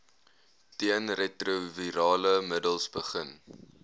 teenretrovirale middels begin